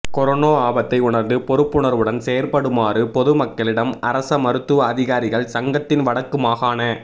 corona ஆபத்தை உணர்ந்து பொறுப்புணர்வுடன் செயற்படுமாறு பொது மக்களிடம் அரச மருத்துவ அதிகாரிகள் சங்கத்தின் வடக்கு மாகாண